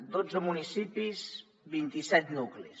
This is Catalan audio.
dotze municipis vinti set nuclis